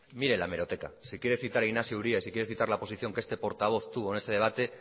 mire la hemeroteca si quiere citar a inaxio uria y si quiere citar la posición que este portavoz tuvo en ese debate